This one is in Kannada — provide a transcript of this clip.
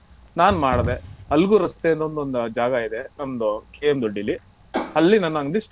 ನಾನ್ ಮಾಡದೇ Algur ರಸ್ತೆ ಅಂತೊಂದು ಜಾಗ ಇದೆ ನಮ್ದು KM Doddi ಲಿ ಅಲ್ಲಿ ನನ್ ಅಂಗ್ಡಿ start .